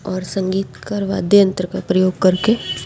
और संगीतकार वाद्य यंत्र का प्रयोग करके --